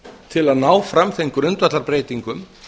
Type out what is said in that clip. til að ná fram þeim grundvallarbreytingum